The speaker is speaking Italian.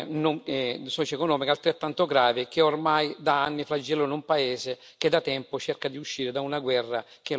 altrettanto grave, che ormai da anni flagellano un paese che da tempo cerca di uscire da una guerra che lo ha messo in ginocchio.